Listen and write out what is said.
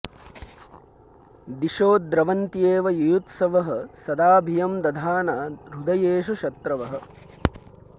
दिशो द्रवन्त्येव युयुत्सवः सदा भियं दधाना हृदयेषु शत्रवः